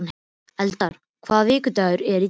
Eldar, hvaða vikudagur er í dag?